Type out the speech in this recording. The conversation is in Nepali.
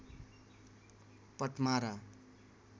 पट्मारा